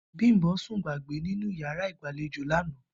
Bím̀bó̩ sùn gbàgbé sínú yàrá ìgbàlejò lánàá